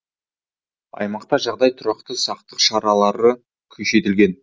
аймақта жағдай тұрақты сақтық шаралары күшейтілген